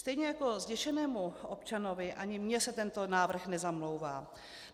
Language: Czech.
Stejně jako zděšenému občanovi, ani mně se tento návrh nezamlouvá.